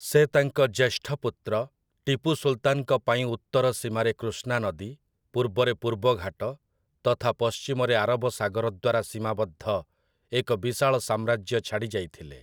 ସେ ତାଙ୍କ ଜ୍ୟେଷ୍ଠ ପୁତ୍ର, ଟିପୁ ସୁଲ୍‌ତାନ୍‌ଙ୍କ ପାଇଁ ଉତ୍ତର ସୀମାରେ କୃଷ୍ଣା ନଦୀ, ପୂର୍ବରେ ପୂର୍ବ ଘାଟ, ତଥା ପଶ୍ଚିମରେ ଆରବ ସାଗର ଦ୍ଵାରା ସୀମାବଦ୍ଧ ଏକ ବିଶାଳ ସାମ୍ରାଜ୍ୟ ଛାଡ଼ି ଯାଇଥିଲେ ।